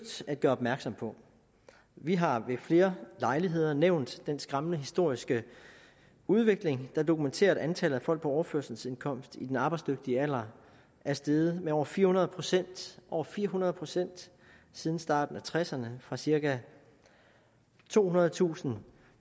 at gøre opmærksom på vi har ved flere lejligheder nævnt den skræmmende historiske udvikling der dokumenterer at antallet af folk på overførselsindkomst i den arbejdsdygtige alder er steget med over fire hundrede procent over fire hundrede procent siden starten af nitten tresserne fra cirka tohundredetusind